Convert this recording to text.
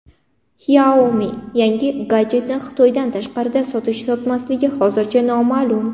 Xiaomi yangi gadjetini Xitoydan tashqarida sotish-sotmasligi hozircha noma’lum.